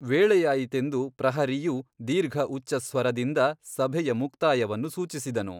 ವೇಳೆಯಾಯಿತೆಂದು ಪ್ರಹರಿಯು ದೀರ್ಘಉಚ್ಚಸ್ವರದಿಂದ ಸಭೆಯ ಮುಕ್ತಾಯವನ್ನು ಸೂಚಿಸಿದನು.